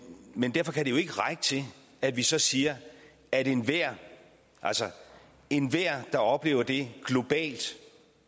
men derfor kan det jo ikke række til at vi så siger at enhver enhver der oplever det globalt